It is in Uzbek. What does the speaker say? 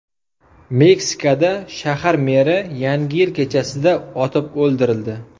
Meksikada shahar meri Yangi yil kechasida otib o‘ldirildi.